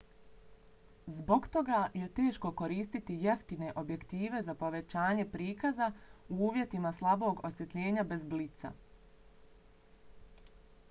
zbog toga je teško koristiti jeftine objektive za povećanje prikaza u uvjetima slabog osvjetljenja bez blica